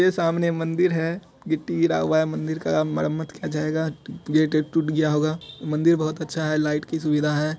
ये सामने मंदिर है गिट्टी गिरा हुआ है मंदिर का मरम्मत किया जायेगा गेट वेट टूट गया होगा मंदिर बहुत अच्छा है लाइट की सुविधा है ।